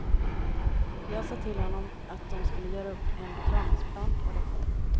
Jag sa till honom att dom skulle göra upp en betalningsplan på det.